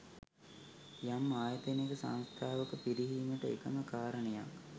යම් ආයතනයක සංස්ථාවක පිරිහීමට එකම කාරණයක්